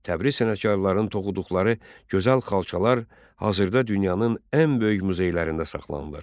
Təbriz sənətkarlarının toxuduqları gözəl xalçalar hazırda dünyanın ən böyük muzeylərində saxlanılır.